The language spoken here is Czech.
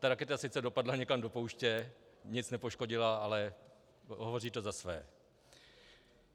Ta raketa sice dopadla někam do pouště, nic nepoškodila, ale hovoří to za své.